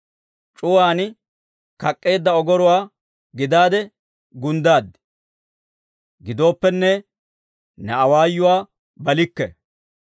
C'uwaan kak'k'eedda ogoruwaa gidaade gunddaad; gidooppenne, ne awaayuwaa balikke.